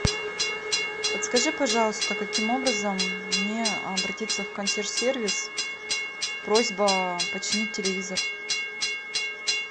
подскажи пожалуйста каким образом мне обратиться в консьерж сервис просьба починить телевизор